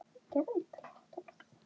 Guðný er dóttir mín.